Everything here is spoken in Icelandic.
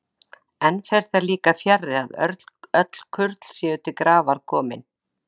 Enn fer því líka fjarri, að öll kurl séu til grafar komin.